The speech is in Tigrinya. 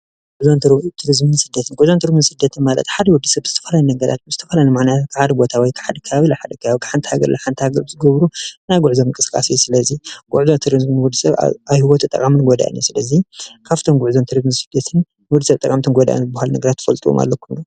ጉዕዞን ቱሪዝምን ስደትን ጉዕዞን ቱሪዝምን ስደትን ማለት ሓደ ወዲ ሰብ ብዝተፈላለዩ ነገራት ብዝተፈላለዩ ምኽንያት ካብ ሓደ ቦታ ወይ ከባቢ ናብ ካሊእ ከባቢ ካብ ሓንቲ ሃገር ናብ ሓንቲ ሃገር ዝገብርዎ ናይ ጉዕዞ ምንቅስቃስ እዩ፡፡ ስለዚ ጉዕዞን ቱሪዝምን ንወዲሰብ ኣብ ሂወቱ ጠቃምን ጎዳእን እዩ፡፡ ስለዚ ካብቶም ጉዕዞን ቱሪዝምን ሰደትን ንወዲሰብ ጠቃሚን ጎዳእን ትፈልጥዎም ኣለውዶ?